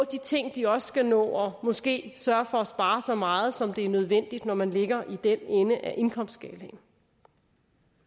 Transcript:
de ting de også skal nå og måske sørge for at spare så meget som det er nødvendigt når man ligger i den ende af indkomstskalaen